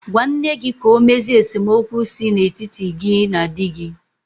Gwa nne gị ka ọ mezie esemokwu si n'etiti gị na di gị.